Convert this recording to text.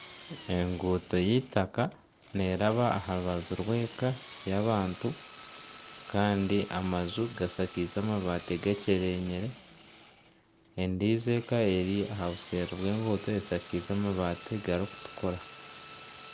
Enguuto y'eitaaka neeraba aha rubaju rw'eka y'abantu kandi amaju gashakaize amabati gakyerenyire endiijo eka eri aha buseeri bw'enguuto eshakaize amabati garikutukura